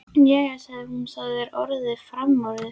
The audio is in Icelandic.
Jæja, sagði hún, það er orðið framorðið.